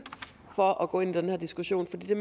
for at gå ind i den her diskussion for det